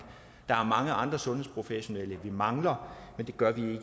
der er mange andre sundhedsprofessionelle vi mangler men det gør vi